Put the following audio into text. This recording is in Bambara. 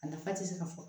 A nafa ti se ka fɔ